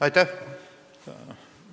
Aitäh!